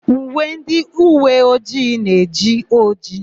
Uwe ndịuweojii na-eji ojii.